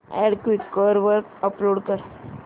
add Quikr वर upload कर